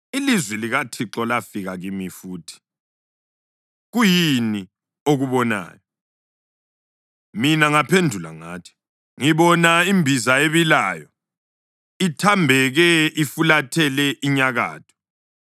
Ilizwi likaThixo lafika kimi futhi: “Kuyini okubonayo?” Mina ngaphendula ngathi, “Ngibona imbiza ebilayo, ithambeke ifulathele inyakatho.”